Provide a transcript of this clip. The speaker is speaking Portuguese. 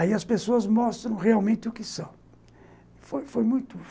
Aí as pessoas mostram realmente o que são. Foi foi muito